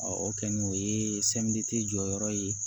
o kɛlen o ye jɔyɔrɔ ye